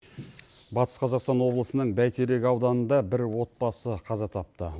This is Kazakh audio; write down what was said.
батыс қазақстан облысының бәйтерек ауданында бір отбасы қаза тапты